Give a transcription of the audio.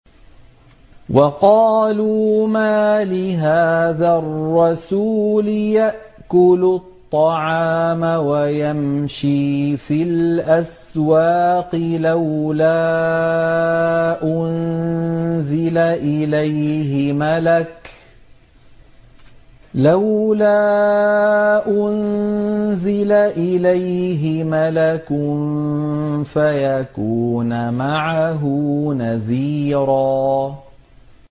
وَقَالُوا مَالِ هَٰذَا الرَّسُولِ يَأْكُلُ الطَّعَامَ وَيَمْشِي فِي الْأَسْوَاقِ ۙ لَوْلَا أُنزِلَ إِلَيْهِ مَلَكٌ فَيَكُونَ مَعَهُ نَذِيرًا